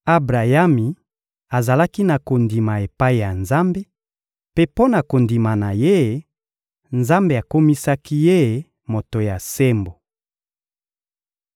Abrayami azalaki na kondima epai ya Nzambe; mpe mpo na kondima na ye, Nzambe akomisaki ye moto ya sembo.